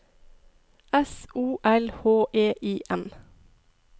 S O L H E I M